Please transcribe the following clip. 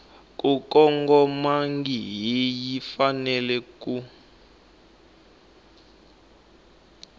ku kongomangihi yi fanele ku